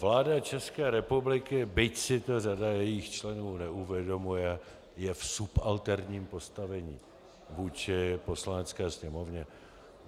Vláda České republiky, byť si to řada jejích členů neuvědomuje, je v subalterním postavení vůči Poslanecké sněmovně.